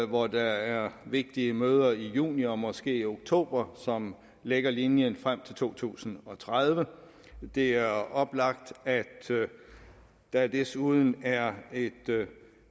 hvor der er vigtige møder i juni og måske i oktober som lægger linjen frem til to tusind og tredive det er oplagt at der desuden er